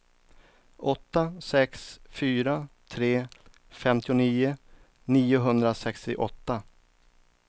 åtta sex fyra tre femtionio niohundrasextioåtta